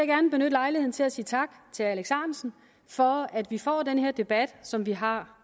gerne benytte lejligheden til at sige tak til herre alex ahrendtsen for at vi får den her debat som vi har